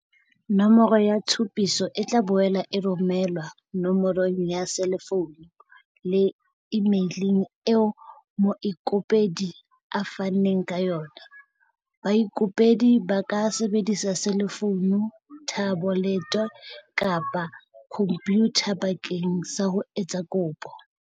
Nomoro ya tshupiso e tla boela e romelwa no morong ya selefounu le imeileng eo moikopedi a fanneng ka yona. Baikopedi ba ka sebedisa selefounu, thabolete kapa khompyutha bakeng sa ho etsa kopo.